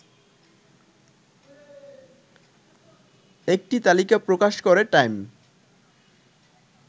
একটি তালিকা প্রকাশ করে টাইম